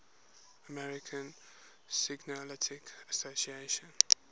american psychoanalytic association